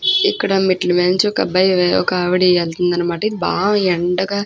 ఇక్కడ మెట్ల మెద నుంచి ఒక్క అబ్బాయి ఒక్క ఆవిడా వెళ్తుంది అనమాట. బాగా యండగ --